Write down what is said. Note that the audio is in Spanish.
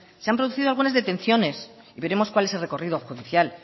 se han producido algunas detenciones y veremos cuál es el recorrido judicial